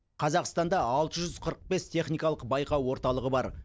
қазақстанда алты жүз қырық бес техникалық байқау орталығы бар